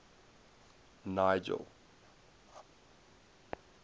nigel